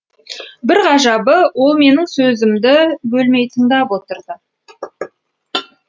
бір ғажабы ол менің сөзімді бөлмей тыңдап отырды